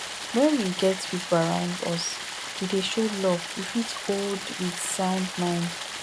when we get pipo around us we dey show us love we fit old with sound mind